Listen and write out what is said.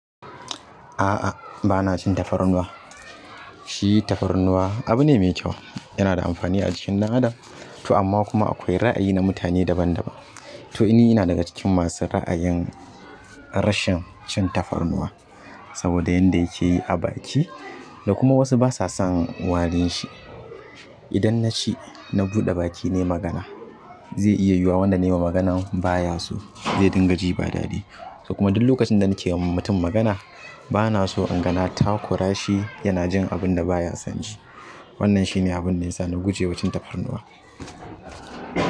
A'a, bana cin tafarnuwa. Shi tafarnuwa abu ne mai kyau, yana da amfani a jikin ɗan adam. To amma kuma akwai ra'ayi na mutane daban daban. To ni ina daga cikin masu ra'ayin rashin cin tafarnuwa. Saboda yanda yake yi abaki da kuma wasu basa son warin shi. Idan naci na buɗe baki nai magana, zai iya yiwuwa wanda nayi wa magana baya so, zai dinga ji ba daɗi. Kuma duk lokacin da nake yi wa mutum magana bana so in gana takura shi yana jin abun da baya son ji. Wannan shine abun da yasa na guje wa cin tafarnuwa.